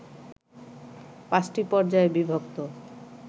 পাঁচটি পর্যায়ে বিভক্ত